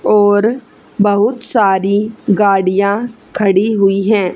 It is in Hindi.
और बहुत सारी गाड़ियां खड़ी हुई है।